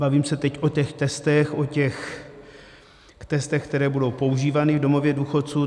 Bavím se teď o těch testech, o těch testech, které budou používány v domovech důchodců.